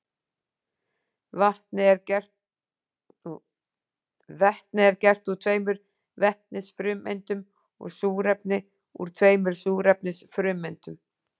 Vetni er gert úr tveimur vetnisfrumeindum og súrefni úr tveimur súrefnisfrumeindum.